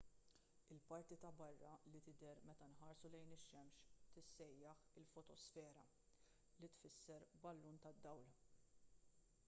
il-parti ta' barra li tidher meta nħarsu lejn ix-xemx tissejjaħ il-fotosfera li tfisser ballun tad-dawl